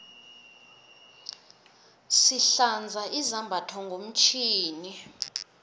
sihlanza izambatho ngomtjhini